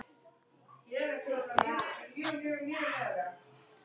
Hún settist hjá mér.